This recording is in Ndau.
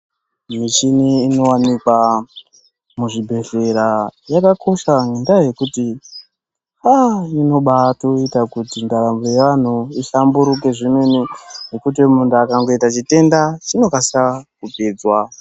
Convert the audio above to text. Mishini inowanikwa muzvibhedhlera yakakosha ,ngendaa yekuti, aaa inobatoita kuti ndaramo yeanhu ihlamburuke zvemene ,ngekuti muntu akangoita chitenda chinokasa kupedzwa.